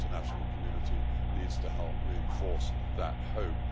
The international community needs to help reinforce that hope.